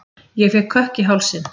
Ég fékk kökk í hálsinn.